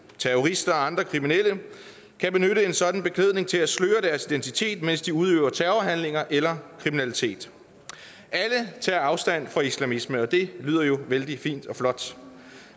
terrorister og andre kriminelle kan benytte en sådan beklædning til at sløre deres identitet mens de udøver terrorhandlinger eller kriminalitet alle tager afstand fra islamisme og det lyder jo vældig fint og flot